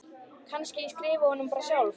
Kannski ég skrifi honum bara sjálf.